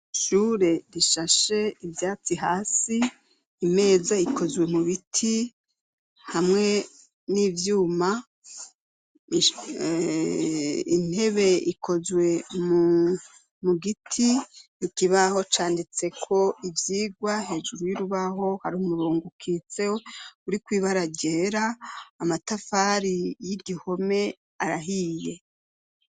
Ishure rishashe ivyatsi hasi imeza ikozwe mu biti hamwe n'ivyuma intebe ikozwe mu mugiti ikibaho canditse ko ivyigwa hejuru y'urubaho hari umurongo ukitsewo uri kwiba arajera amatafari y'igihome arahiye.